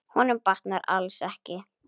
Honum batnar alls ekki.